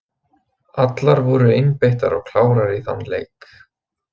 Allar voru einbeittar og klárar í þann leik.